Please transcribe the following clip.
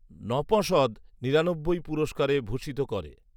নঁপশদ নিরানব্বই ’পুুরস্কারে ভূষিত করে